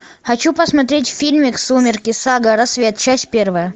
хочу посмотреть фильмик сумерки сага рассвет часть первая